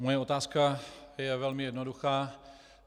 Moje otázka je velmi jednoduchá.